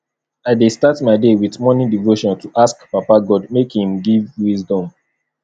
i dey start my day with morning devotion to ask papa god make im give wisdom